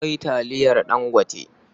Akwai taliyar Dangote.